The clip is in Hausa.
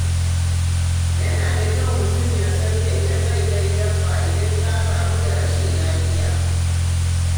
Yana da kyau mutum ya san inda zai kai dabba idan ta kamu da rashin lafiya.